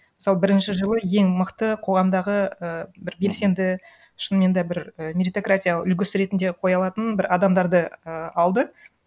мысалы бірінші жылы ең мықты қоғамдағы і бір белсенді шынымен де бір і меритократия үлгісі ретінде қоя алатын бір адамдарды і алды